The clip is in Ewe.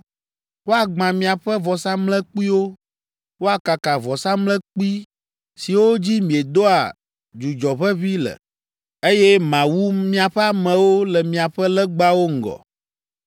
Woagbã miaƒe vɔsamlekpuiwo, woakaka vɔsamlekpui siwo dzi miedoa dzudzɔ ʋeʋĩ le, eye mawu miaƒe amewo le miaƒe legbawo ŋgɔ.